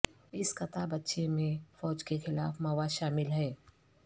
اس کتابچے میں فوج کے خلاف مواد شامل ہے